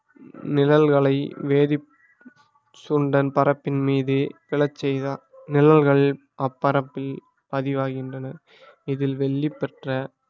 நிழல்களை வேதி சுண்டன் பரப்பின் மீது விழச் செய்தார் நிழல்கள் அப்பரப்பில் பதிவாகின்றன இதில் வெள்ளி பெற்ற